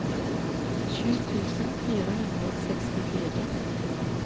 sju tusen fire hundre og sekstifire